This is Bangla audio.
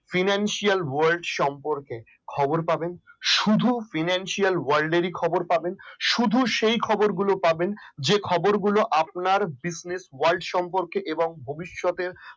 financial world সম্পর্কে খবর পাবেন শুধু financial world এর কি খবর পাবেন শুধু সেই খবরগুলো পাবেন যে খবরগুলো আপনার business world সম্পর্কে এবং ভবিষ্যতে